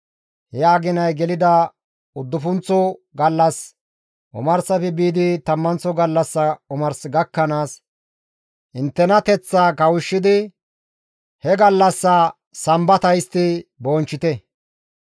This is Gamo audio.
He aginay gelida uddufunththo gallassa omarsafe biidi tammanththo gallassa omars gakkanaas inttenateththaa kawushshidi he gallassaa Sambata histti bonchchite.»